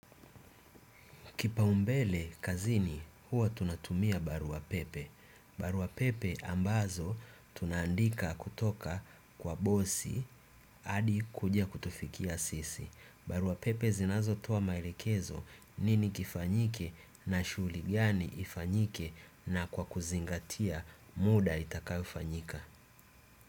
Kipaumbele kazini huwa tunatumia barua pepe. Barua pepe ambazo tunaandika kutoka kwa bosi hadi kuja kutufikia sisi. Barua pepe zinazotoa maelekezo nini kifanyike na shughuli gani ifanyike na kwa kuzingatia muda itakayofanyika.